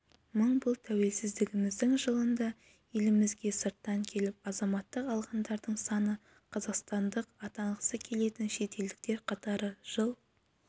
мың бұл тәуелсіздігіміздің жылында елімізге сырттан келіп азаматтық алғандардың саны қазақстандық атанғысы келетін шетелдіктер қатары жыл